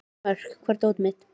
Mörk, hvar er dótið mitt?